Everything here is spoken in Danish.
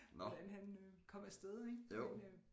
Hvordan han øh kom afsted ik men øh